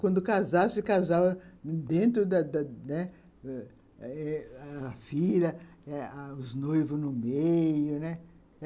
Quando casasse, casava dentro da da da, né, ãh, a filha, os noivos no meio, né.